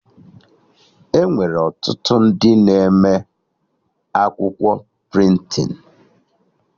Enwere ọtụtụ ndị na-eme akwụkwọ prịntịn